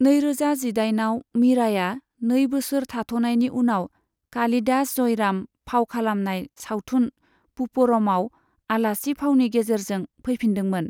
नैरोजा जिदाइनआव मीराया नै बोसोर थाथ'नायनि उनाव कालिदास जयराम फाव खालामनाय सावथुन पुपरमआव आलासि फावनि गेजेरजों फैफिनदोंमोन।